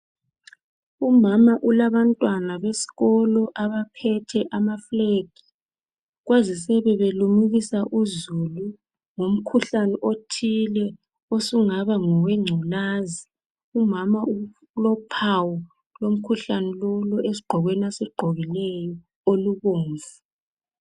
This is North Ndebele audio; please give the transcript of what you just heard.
Umama ulabantwana besikolo abaphethe amaflag kwazisebe limukisa uzulu ngomkhuhlane othile osungaba ngowe ngculazi umama ulophawu esigqokweni lase asigqokileyo olubomvu